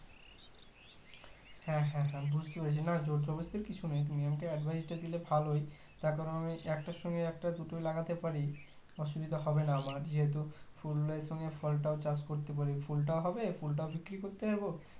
হ্যাঁ হ্যাঁ আমি বুজতে পেরেছি না জোরজবরস্তি কিছু নেই তুমি আমাকে advice টা দিলে ভালোই তার কারণ আমি একটার সঙ্গে একটা দুটোই লাগাতে পারি অসুবিধা হবে না আমার যেহুতু ফুলের সঙ্গে ফলটাও চাষ করতে পারি ফলটা হবে ফুলটা বিক্রি করতে পারবো